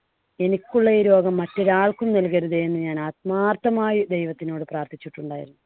എനിക്കുള്ള ഈ രോഗം മറ്റൊരാള്‍ക്കും നൽകരുതേ എന്ന് ഞാൻ ആത്മാർത്ഥമായി ദൈവത്തിനോട് പ്രാർത്ഥിച്ചിട്ടുണ്ടായിരുന്നു.